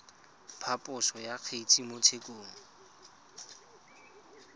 phaposo ya kgetse mo tshekong